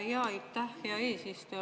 Aitäh, hea eesistuja!